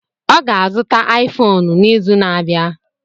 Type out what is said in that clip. Ọ ga-azụta Aifonu n'izu na-abịa.